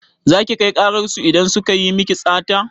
Za ki kai ƙarar su idan suka yi miki sata?